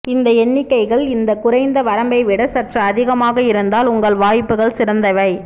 இந்த எண்ணிக்கைகள் இந்த குறைந்த வரம்பை விட சற்று அதிகமாக இருந்தால் உங்கள் வாய்ப்புகள் சிறந்தவை